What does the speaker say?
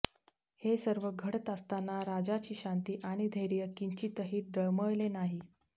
हे सर्व घडत असताना राजाची शांती आणि धैर्य किंचितही डळमळले नाही